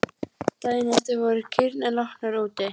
Daginn eftir voru kýrnar látnar út.